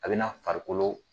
A bɛna farikolo